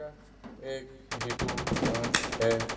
यह एक V two mart है।